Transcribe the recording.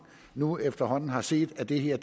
nu efterhånden har set at det her